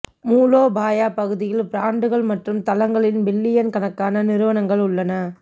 மூலோபாய பகுதிகளில் பிராண்டுகள் மற்றும் தளங்களில் பில்லியன் கணக்கான நிறுவனங்கள் உள்ளன